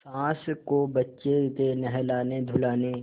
सास को बच्चे के नहलानेधुलाने